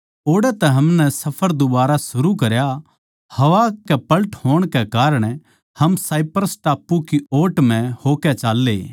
ओड़ै तै हमनै सफर दुबारा शुरू करया हवा कै पलट होण कै कारण हम साइप्रस टापू की ओट म्ह होकै चाल्ले